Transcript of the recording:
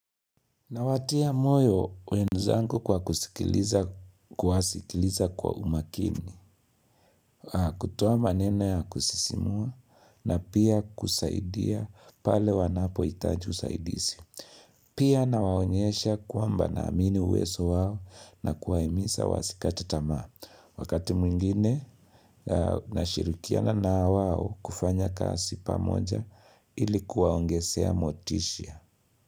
Nawatia moyo wenzangu kwa kusikiliza kuwasikiliza kwa umakini, kutoa maneno ya kusisimua na pia kusaidia pale wanapoitaji usaidisi. Pia nawaonyesha kwamba naamini uweso wao na kuwaimisa wasikate tamaa. Wakati mwingine, nashirikiana na wao kufanya kasi pamoja ili kuwaogesea motishia.